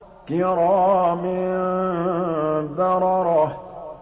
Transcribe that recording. كِرَامٍ بَرَرَةٍ